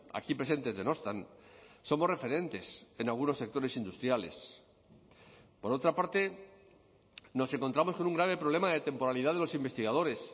aquí presentes denostan somos referentes en algunos sectores industriales por otra parte nos encontramos con un grave problema de temporalidad de los investigadores